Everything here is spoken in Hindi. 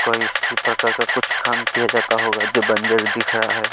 कोई इसी प्रकार का कुछ काम किया जाता होगा जो बंजर दिख रहा है।